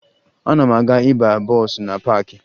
Ana m aga ịba bọọsụ na paakị